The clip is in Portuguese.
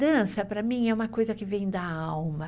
Dança, para mim, é uma coisa que vem da alma.